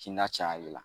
Kinda caya de la